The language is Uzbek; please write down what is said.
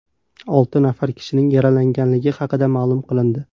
Olti nafar kishining yaralanganligi haqida ma’lum qilindi.